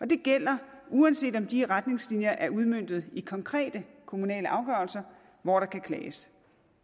det gælder uanset om de retningslinjer er udmøntet i konkrete kommunale afgørelser hvor der kan klages